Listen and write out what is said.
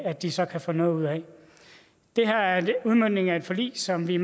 at de så kan få noget ud af det her er udmøntningen af et forlig som vi